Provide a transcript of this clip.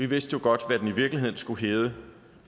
vidste jo godt hvad den i virkeligheden skulle hedde